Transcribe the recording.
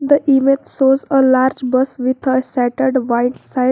the image shows a large bus with a settered back side.